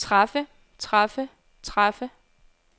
træffe træffe træffe